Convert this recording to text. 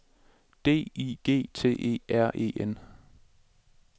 D I G T E R E N